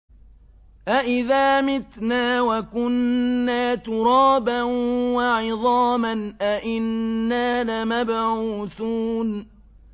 أَإِذَا مِتْنَا وَكُنَّا تُرَابًا وَعِظَامًا أَإِنَّا لَمَبْعُوثُونَ